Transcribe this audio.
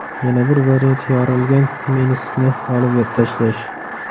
Yana bir variant yorilgan meniskni olib tashlash.